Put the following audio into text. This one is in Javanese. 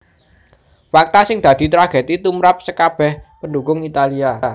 Fakta sing dadi tragedi tumrap skabèh pendhukung Italia